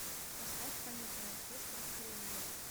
поставь камерный оркестр кремлин